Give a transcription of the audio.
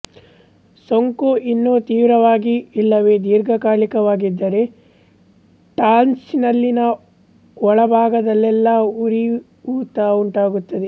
ಸೋಂಕು ಇನ್ನೂ ತೀವ್ರವಾಗಿ ಇಲ್ಲವೇ ದೀರ್ಘಕಾಲಿಕವಾಗಿದ್ದರೆ ಟಾನ್ಸಿಲ್ಲಿನ ಒಳಭಾಗದಲ್ಲೆಲ್ಲ ಉರಿಊತ ಉಂಟಾಗುತ್ತದೆ